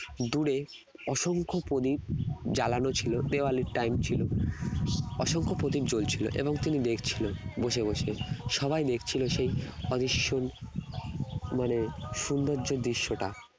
দূরে অসংখ্য প্রদীপ জ্বালানো ছিল দেওয়ালে time ছিল অসংখ্য প্রদীপ জ্বলছিল এবং তিনি দেখছিলেন বসে বসে সবাই দেখছিলো সেই অবিস্মরণীয় মানে সৌন্দর্য দৃশ্যটা